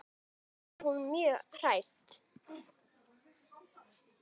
Þá var hún mjög hrædd.